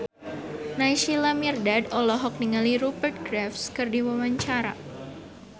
Naysila Mirdad olohok ningali Rupert Graves keur diwawancara